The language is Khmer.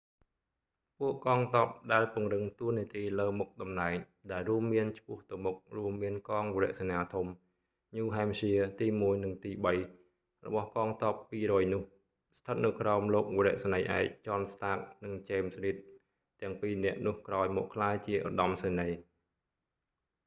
ពួកកងទ័ពដែលពង្រឹងតួនាទីលើមុខតំណែងដែលរួមមានឆ្ពោះទៅមុខរួមមានកងវរសេនាធំ new hampshire ទី 1 និងទី 3 របស់កងទ័ព200នោះ ស្ថិតនៅក្រោមលោកវរៈសេនីយ៍ឯក john stark និង james reed ទាំងពីរនាក់នោះក្រោយមកក្លាយជាឧត្តមសេនីយ៍